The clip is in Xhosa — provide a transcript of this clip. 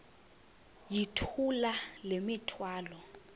yithula le mithwalo